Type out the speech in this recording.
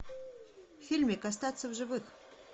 фильмик остаться в живых